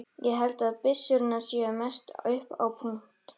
Ég held að byssurnar séu mest upp á punt.